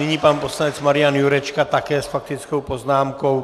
Nyní pan poslanec Marian Jurečka také s faktickou poznámkou.